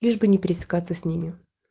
лишь бы не пересекаться с ними